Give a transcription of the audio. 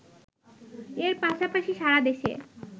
এর পাশাপাশি সারা দেশে